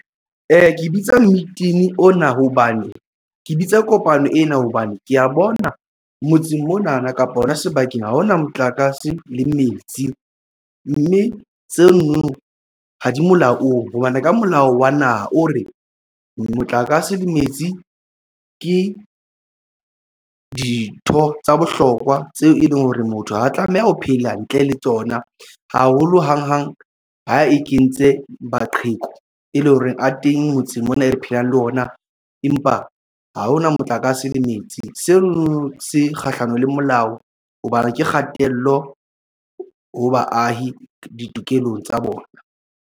Ke bitsa meeting ona hobane ke bitsa kopano ena hobane ke ya bona motseng mona na kapa hona sebakeng ha hona motlakase le metsi, mme tseno ha di molaong hobane ka molao wa naha o re motlakase le metsi ke dintho tsa bohlokwa tseo e leng hore motho ha a tlameha ho phela ntle le tsona haholo hang hang ha e kentse maqheku e leng hore a teng motseng mona e re phelang le ona, empa ha hona motlakase le metsi seo se kgahlanong le molao hobane ke kgatello ho baahi ditokelong tsa bona.